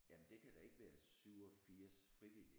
Jamen det kan da ikke være 87 frivillige?